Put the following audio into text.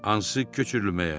Hansı köçürülməyə?